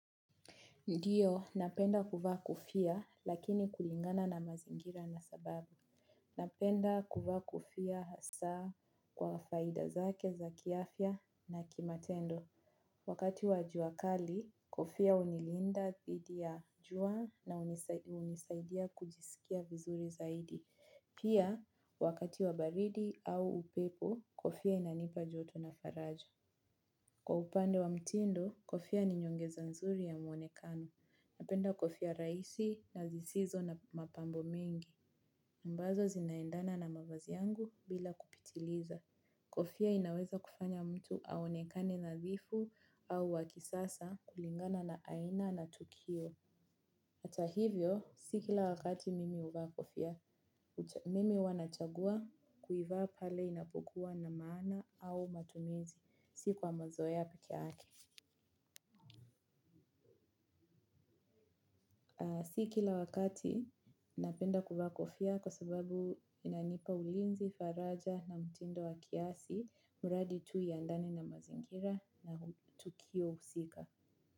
Ndio, napenda kuvaa kofia lakini kulingana na mazingira na sababu. Napenda kuvaa kofia hasa kwa faida zake za kiafya na kimatendo. Wakati wa jua kali, kofia hunilinda dhidi ya jua na hunisaidia kujisikia vizuri zaidi. Pia, wakati wa baridi au upepo, kofia inanipa joto na faraja. Kwa upande wa mtindo, kofia ni nyongeza nzuri ya muonekano. Napenda kofia raisi na zisizo na mapambo mengi. Ambazo zinaendana na mavazi yangu bila kupitiliza. Kofia inaweza kufanya mtu aonekane nadhifu au wa kisasa kulingana na aina na tukio. Ata hivyo, si kila wakati mimi huvaa kofia. Mimi huwa nachagua kuivaa pale inapokua na maana au matumizi. Si kwa mazoea pekeyake. Si kila wakati, napenda kuvaa kofia kwa sababu inanipa ulinzi, faraja na mtindo wa kiasi, mradi tu ya ndani na mazingira na tukio husika.